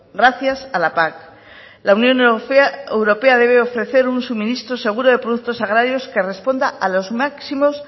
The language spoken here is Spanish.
gracias a la pac la unión europea debe ofrecer un suministro seguro de productos agrarios que responda a los máximos